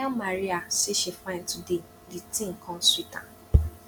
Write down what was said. i tell maria say she fine today the thing come sweet am